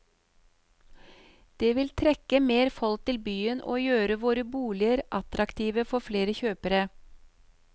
Det vil trekke mer folk til byen og gjøre våre boliger attraktive for flere kjøpere.